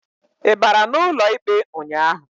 Ị bara n'ụlọ ikpe ụnyaahụ?